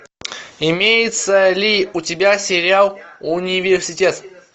имеется ли у тебя сериал университет